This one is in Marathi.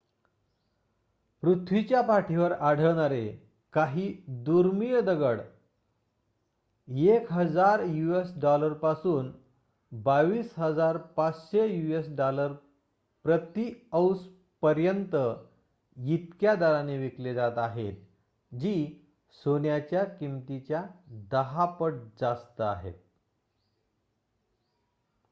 पृथ्वीच्या पाठीवर आढळणारे काही दुर्मिळ दगड यूएस $११,००० पासून $२२,५०० पर्यंच प्रति औंस इतक्या दराने विकले जात आहेत जी सोन्याच्या किमतीच्या १० पट जास्त आहे